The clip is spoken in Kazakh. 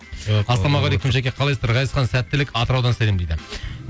ассалаумағалейкум жәке қалайсыздар ғазизхан сәттілік атыраудан сәлем дейді